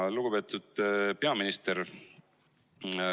Lugupeetud peaminister!